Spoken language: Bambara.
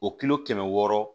O kilo kɛmɛ wɔɔrɔ